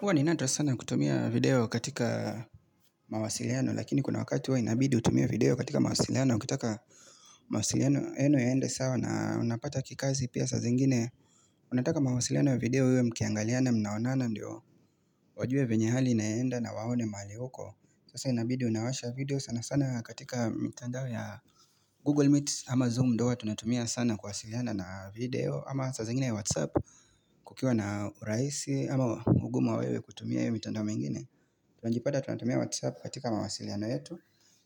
Huwa ni nato sana kutumia video katika mawasiliano lakini kuna wakati huwa inabidi utumie video katika mawasiliano ukitaka mawasiliano yenyu yaende sawa na unapata kikazi pia saa zingine unataka mawasiliano ya video uwe mkiangaliana mnaonana ndio wajue vyenye hali inaenda na waone mahali uko Sasa inabidi unawasha video sana sana katika mitandao ya Google Meet ama Zoom ndio huwa tunatumia sana kuwasiliana na video ama saa zingine ya Whatsapp kukiwa na urahisi ama unguma wa wewe kutumia hio mitandao mingine Tunajipata tunatumia whatsapp katika mawasiliano yetu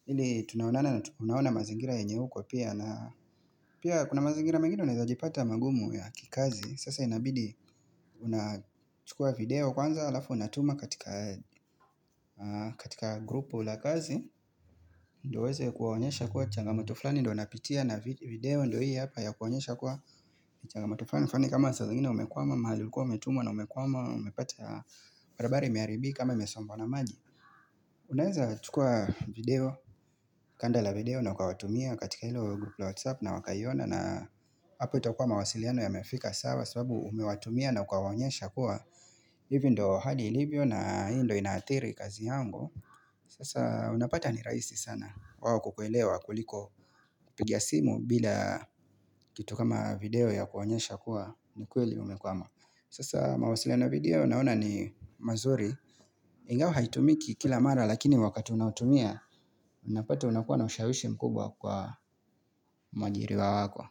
ili tunaonana na tunaona mazingira yenye uko pia na Pia kuna mazingira mengine unaweza jipata magumu ya kikazi Sasa inabidi unachukua video kwanza alafu unatuma katika grupu la kazi Ndio uweze kuwaonyesha kuwa changamoto fulani Ndio unapitia na video ndio hii hapa ya kuwaonyesha kuwa changamoto fulani fulani kama saa zingine umekwama mahali ulikuwa umetumwa na umekwama umepata barabara imeharibika ama imesombwa na maji Unaweza chukua video, kanda la video na ukawatumia katika hilo grupu la WhatsApp na wakaiona na hapo itakua mawasiliano yamefika sawa sababu umewatumia na ukawaonyesha kuwa hivi ndio hali lilivyo na hii ndio inaathiri kazi yangu Sasa unapata ni rahisi sana wao kukuelewa kuliko kupigia simu bila kitu kama video ya kuwaonyesha kuwa ni kweli umekwama Sasa mawasiliano ya video naona ni mazuri Ingawa haitumiki kila mara lakini wakati unaotumia Unapata unakuwa na ushawishi mkubwa kwa mwaajiriwa wako.